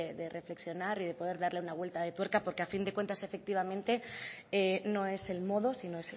de reflexionar y de poder darle una vuelta de tuerca porque a fin de cuentas efectivamente no es el modo sino